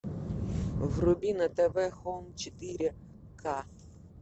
вруби на тв хоум четыре ка